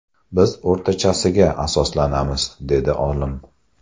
Biz o‘rtachasiga asoslanamiz”, dedi olim.